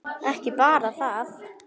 Ekki bara það.